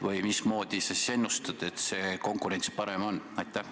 Või mida sa ennustad, mismoodi see konkurents parem on?